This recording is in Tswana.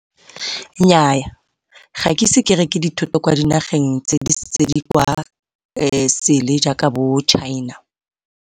Nnyaa, ga ke ise ke reke dithoto ko dinageng disele jaaka bo China.